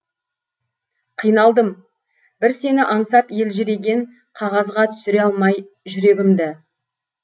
қиналдым бір сені аңсап елжіреген қағазға түсіре алмай жүрегімді